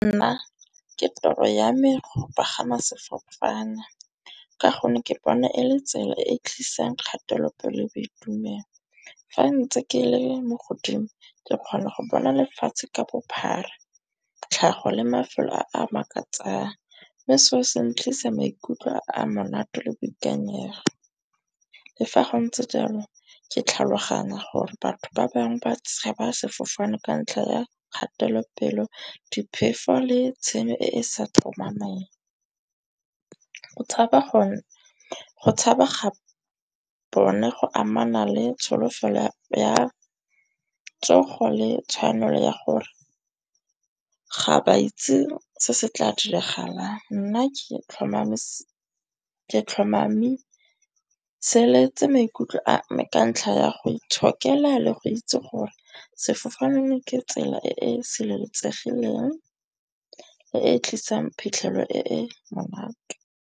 Nna ke tiro ya me go pagama sefofane. Ka gonne ke bona e le tsela e e tlisang kgatelopele le boitumelo. Fa ntse ke le mo godimo ke kgona go bona lefatshe ka bophara, tlhago le mafelo a a makatsang. Mme seo se tlisa maikutlo a monate le boikanyego. Le fa go ntse jalo ke tlhaloganya gore batho ba bangwe ba tshaba sefofane ka ntlha ya kgatelopele, diphefo le tshenyo e e sa tlhomamang. Go tshaba ga bone go amana le tsholofelo ya tsogo le tshwanelo ya gore ga ba itse se se tla diragalang. Nna ke tlhomameseletse maikutlo a ka ntlha ya go itshokela le go itse gore sefofane ke tsela e e sireletsegileng le e tlisang phitlhelelo e e monate.